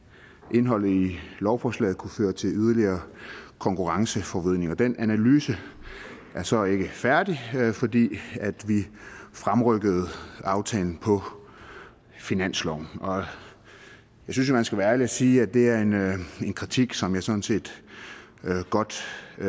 indholdet i lovforslaget kunne føre til yderligere konkurrenceforvridning og den analyse er så ikke færdig fordi vi fremrykkede aftalen på finansloven jeg synes jo man skal være ærlig sige at det er en kritik som vi sådan set godt